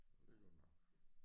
Det godt nok